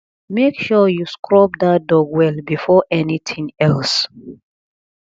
make sure you scrub dat dog well before anything else